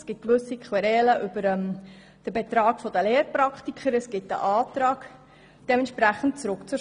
Es gibt gewisse Querelen und einen Abänderungsantrag bezüglich dem Beitrag der Lehrpraktiker.